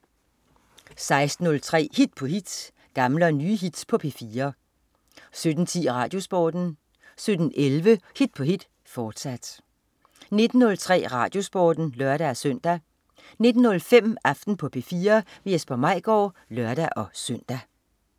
16.03 Hit på hit. Gamle og nye hits på P4 17.10 RadioSporten 17.11 Hit på hit, fortsat 19.03 RadioSporten (lør-søn) 19.05 Aften på P4. Jesper Maigaard (lør-søn)